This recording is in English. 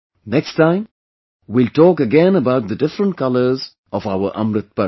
Next time, we will talk again about the different colors of our Amrit Parv